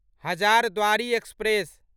Hazarduari express